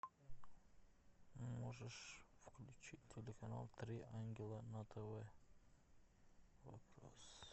можешь включить телеканал три ангела на тв вопрос